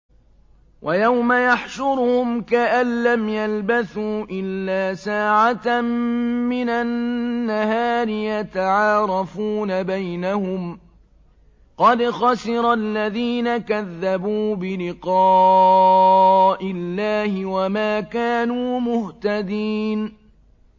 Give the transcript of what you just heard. وَيَوْمَ يَحْشُرُهُمْ كَأَن لَّمْ يَلْبَثُوا إِلَّا سَاعَةً مِّنَ النَّهَارِ يَتَعَارَفُونَ بَيْنَهُمْ ۚ قَدْ خَسِرَ الَّذِينَ كَذَّبُوا بِلِقَاءِ اللَّهِ وَمَا كَانُوا مُهْتَدِينَ